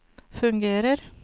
fungerer